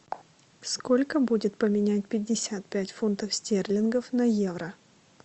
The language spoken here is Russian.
сколько будет поменять пятьдесят пять фунтов стерлингов на евро